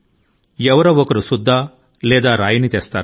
ఎవరో ఒకరు ఒక సుద్దముక్క ను గాని లేదా రాయి ని గాని తీసుకు వస్తారు